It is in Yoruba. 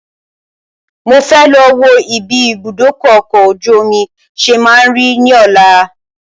Mo fẹ́ lọ wò bí ìbúdókọ̀ ọ̀kọ̀ ojú omi ṣe má ń rí ní ọ̀la